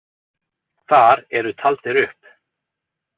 Þar eru taldir upp.